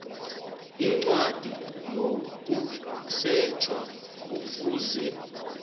incwadi yokusetjha kufuze